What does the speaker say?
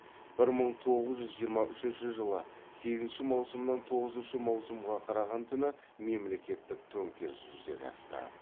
бір мың тоғыз жүз жиырма үшінші жылы сегізінші маусымнан тоғызыншы маусымға қараған түні мемлекеттік төңкеріс жүзеге асты